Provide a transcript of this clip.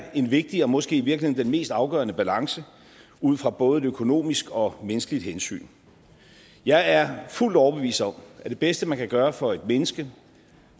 er en vigtig og måske i virkeligheden den mest afgørende balance ud fra både et økonomisk og et menneskeligt hensyn jeg er fuldt overbevist om at det bedste man kan gøre for et menneske